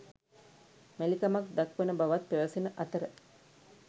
මැලිකමක් දක්වන බවත් පැවසෙන අතර